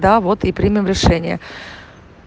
да вот и принял решение